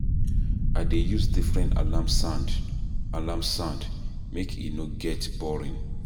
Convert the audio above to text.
I dey use different alarm sound, alarm sound, make e no get boring.